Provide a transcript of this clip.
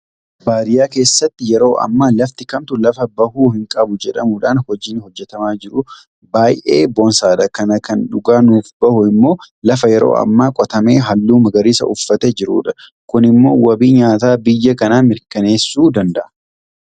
Baadiyyaa keessatti yeroo ammaa lafti kamtuu lafa bahuu hinqabu jedhamuudhaan hojiin hojjetamaa jiru baay'ee boonsaadha. Kana kan dhugaa nuuf bahu immoo lafa yeroo ammaa qotamee halluu magariisa uffatee jirudha. Kun immoo wabii nyaataa biyya kanaa mirkaneessuu danda'a.